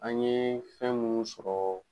An ye fɛn munnu sɔrɔ.